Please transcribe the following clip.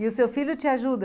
E o seu filho te ajuda?